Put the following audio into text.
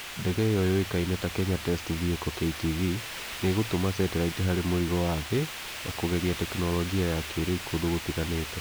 ndege iyo yũĩkaine ta Kenya test vehicle(KTV) nĩ ĩgũtũma sĩtilaiti harĩ mũrigo wa thi(orbit) na kũgeria tekinolojia ya kĩrĩu kũndũ gũtganĩte